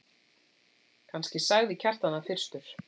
Kannski sagði Kjartan það fyrstur.